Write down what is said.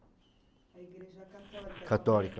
A igreja católica? Católica.